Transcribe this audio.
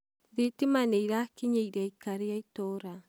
thitima nĩirakinyĩire aikari a itũũra